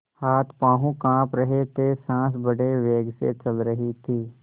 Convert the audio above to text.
हाथपॉँव कॉँप रहे थे सॉँस बड़े वेग से चल रही थी